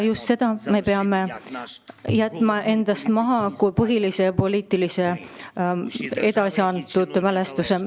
Just selle arusaama peame me jätma endast maha kui põhilise poliitilise, edasi elava mälestuse.